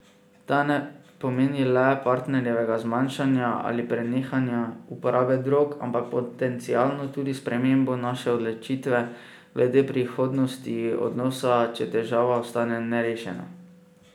Ta ne pomeni le partnerjevega zmanjšanja ali prenehanja uporabe drog, ampak potencialno tudi spremembo naše odločitve glede prihodnosti odnosa, če težava ostane nerešena.